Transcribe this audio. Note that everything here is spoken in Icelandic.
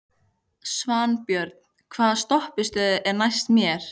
Svanbjörn, hvaða stoppistöð er næst mér?